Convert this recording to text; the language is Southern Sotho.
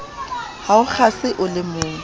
ha o kgase o lemong